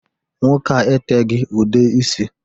Nwoke a etegi ude isi